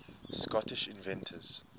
scottish inventors